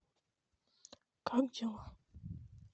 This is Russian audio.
как дела